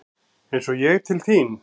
Eins og ég til þín?